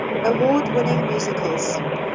award winning musicals